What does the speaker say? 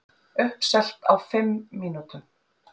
Uppselt á fimm mínútum